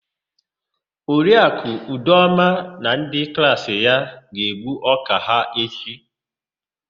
Oriaku Udoma na ndị klaasị ya ga-egbu ọ́kà ha echi.